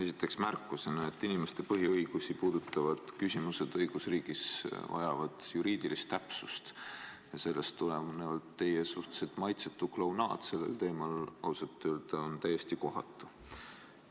Esiteks märkus: inimeste põhiõigusi puudutavad küsimused vajavad õigusriigis juriidilist täpsust ja sellest tulenevalt on teie suhteliselt maitsetu klounaad sellel teemal ausalt öeldes täiesti kohatu.